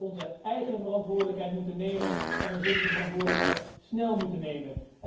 We zullen onze eigen verantwoordelijkheid moeten nemen en we zullen die verantwoordelijkheid snel moeten nemen.